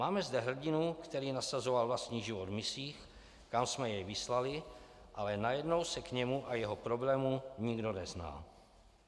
Máme zde hrdinu, který nasazoval vlastní život v misích, kam jsme jej vyslali, ale najednou se k němu a jeho problému nikdo nezná.